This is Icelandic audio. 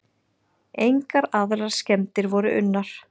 Engar aðrar skemmdir voru unnar.